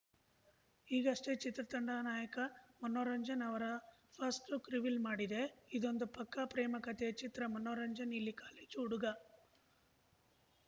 ಈಗಷ್ಟೇ ಚಿತ್ರತಂಡ ನಾಯಕ ಮನೋರಂಜನ್‌ ಅವರ ಫಸ್ಟ್‌ಲುಕ್‌ ರಿವೀಲ್‌ ಮಾಡಿದೆ ಇದೊಂದು ಪಕ್ಕಾ ಪ್ರೇಮ ಕತೆಯ ಚಿತ್ರ ಮನೋರಂಜನ್‌ ಇಲ್ಲಿ ಕಾಲೇಜು ಹುಡುಗ